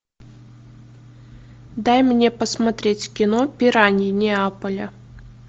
дай мне посмотреть кино пираньи неаполя